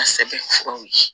A sɛbɛn furaw ye